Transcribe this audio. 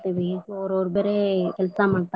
ಅವ್ರರ ಬರೆ ಕೆಲಸಾ ಮಾಡ್.